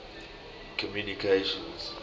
communications